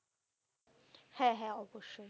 হ্যাঁ হ্যাঁ অবশ্যই ।